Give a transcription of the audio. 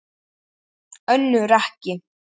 Önnur ekki.